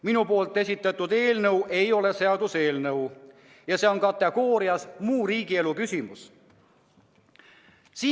Minu esitatud eelnõu ei ole seaduseelnõu, see kuulub kategooriasse "muu riigielu küsimus".